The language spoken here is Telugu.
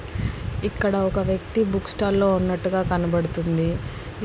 ఇక్కడ ఒక వ్యక్తి బుక్ స్టాల్ లో ఉన్నట్టుగా కనబడుతుంది.